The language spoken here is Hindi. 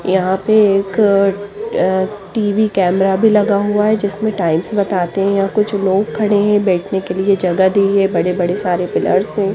यहा पे एक अ टि_वी कैमरा भी लगा हुआ है जिसमे टाइल्स बताते या कुछ लोग खड़े है बटने के लिए जगा दी है बड़े बड़े पिलर्स है।